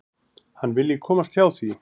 Hann vilji komast hjá því.